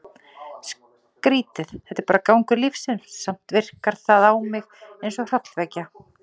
Skrítið, þetta er bara gangur lífsins, samt virkar það á mig eins og hrollvekja.